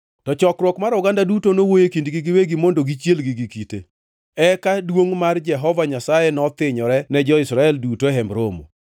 To chokruok mar oganda duto nowuoyo e kindgi giwegi mondo gichielgi gi kite. Eka duongʼ mar Jehova Nyasaye nothinyore ne jo-Israel duto e Hemb Romo.